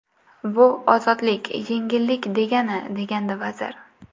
Bu ozodlik, yengillik degani”, degandi vazir.